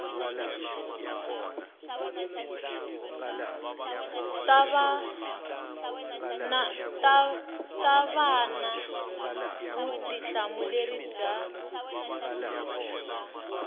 ta va na vutihlamuleri bya